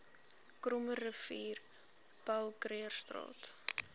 krommerivier paul krugerstraat